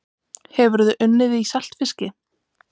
Hefurðu unnið í saltfiski?